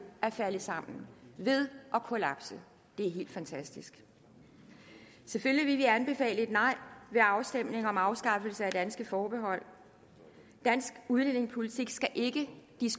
at falde sammen ved at kollapse det er helt fantastisk selvfølgelig vil vi anbefale et nej ved afstemningen om afskaffelse af danske forbehold dansk udlændingepolitik skal ikke